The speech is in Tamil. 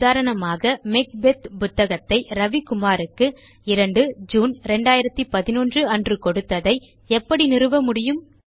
உதாரணமாக மேக்பெத் புத்தகத்தை ரவி குமார் க்கு 2 ஜூன் 2011 அன்று கொடுத்ததை எப்படி நிறுவ முடியும்